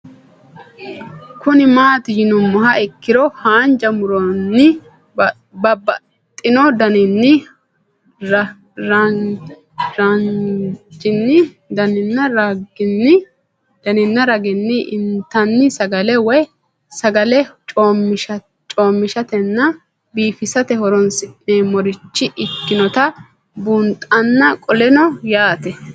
Kuni mati yinumoha ikiro hanja muroni babaxino daninina ragini intani sagale woyi sagali comishatenna bifisate horonsine'morich ikinota bunxana qoleno yaate